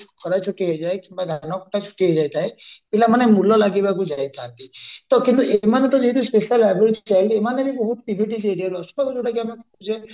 ଯୋଉ ଖରାଛୁଟି ହେଇଯାଏ କି ଧାନକଟା ଛୁଟି ହେଇଯାଇଯାଏ ପିଲାମାନେ ମୂଳ ଲାଗିବାକୁ ଯାଇଥାନ୍ତି କିନ୍ତୁ ତ ଏଇମାନେ ଯେହେତୁ specially abled child ତ ଏମାନେ ବି ବହୁତ area ରୁ ଆସୁଛନ୍ତି ଯୋଉଟା କି ଆମର